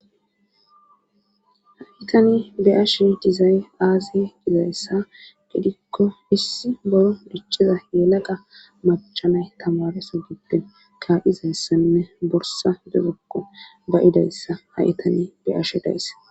ha7itani be ashe dizay aaze dizayssa gidikko issi bolo dichiza yenaqa macchanay tamareso gidden kaizayssanne borsa dezokko bayidayssa ha itani be ashe daysse